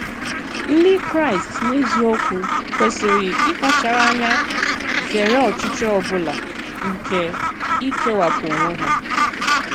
Ndị Kraịst, n’eziokwu, kwesịrị ịkpachara ànyá zèrè ọchịchọ ọ bụla nke ikewapụ onwe ha.